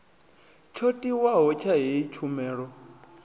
tsho tiwaho tsha heyi tshumelo